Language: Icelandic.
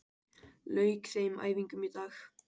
Lauk þeim æfingum í dag